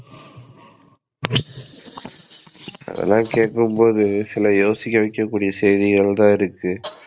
இதெல்லாம் கேக்கும்போது சில யோசிக்க வைக்கக்கூடிய செய்திகள் தான் இருக்கு.